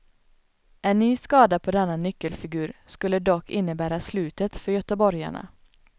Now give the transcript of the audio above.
En ny skada på denna nyckelfigur skulle dock innebära slutet för göteborgarna.